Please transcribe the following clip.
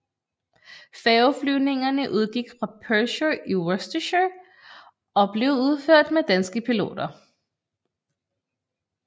Færgeflyvningerne udgik fra Pershore i Worcestershire og blev udført med danske piloter